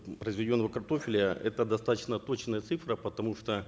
произведенного картофеля это достаточно точная цифра потому что